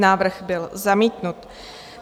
Návrh byl zamítnut.